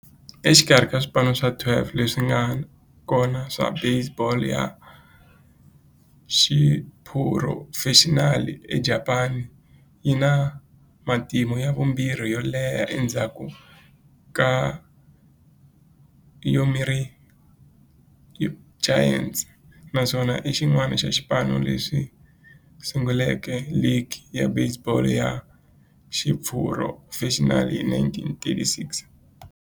Exikarhi ka swipano swa 12 leswi nga kona swa baseball ya xiphurofexinali eJapani, yi na matimu ya vumbirhi yo leha endzhaku ka Yomiuri Giants, naswona i xin'wana xa swipano leswi sunguleke ligi ya baseball ya xiphurofexinali hi 1936.